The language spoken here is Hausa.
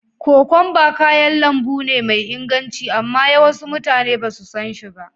Kokwamba kayan lambu ne mai inganci amma yawasu mutane ba su son shi.